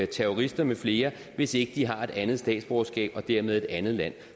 terrorister med flere hvis ikke de har et andet statsborgerskab og dermed et andet land